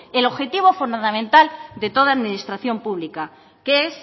el objetivo fundamental de toda administración pública que es